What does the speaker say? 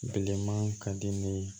Bilenman ka di ne ye